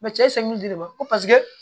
cɛ de b'a fɔ ko